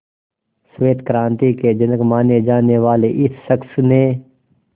श्वेत क्रांति के जनक माने जाने वाले इस शख्स ने